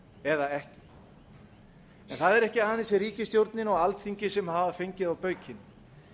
eða ekki en það er ekki aðeins ríkisstjórnin og alþingi sem hafa fengið á baukinn